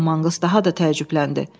Con Manqls daha da təəccübləndi.